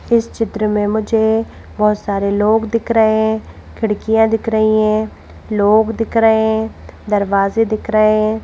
इस चित्र में मुझे बहुत सारे लोग दिख रहे हैं खिड़कियां दिख रही हैं लोग दिख रहे हैं दरवाजे दिख रहे हैं।